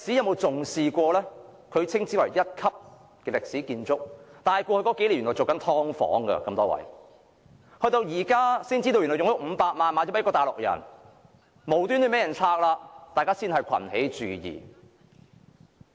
紅樓屬一級歷史建築，但過去數年原來被用作"劏房"，到了現在才知道它已經以500萬元賣了給一名大陸人，無端被拆，市民才群起注意。